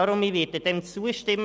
Deshalb werde ich dem zustimmen.